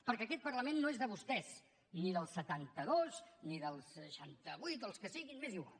perquè aquest parlament no és de vostès ni dels setanta dos ni dels seixanta vuit o els que siguin m’és igual